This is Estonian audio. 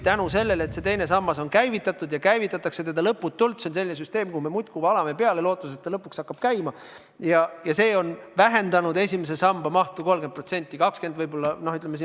Tänu sellele, et teine sammas on käivitatud ja teda käivitatakse lõputult – see on selline süsteem, kuhu me muudkui valame peale lootuses, et ta lõpuks käima hakkab –, on see vähendanud esimese samba mahtu 30%, võib-olla 20%.